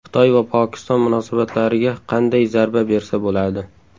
Xitoy va Pokiston munosabatlariga qanday zarba bersa bo‘ladi?